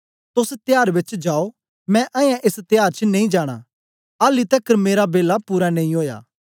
तोस त्याहर बेच जाओ मैं अयें एस त्याहर च नेई जाना आली तकर मेरा बेला पूरा नेई ओया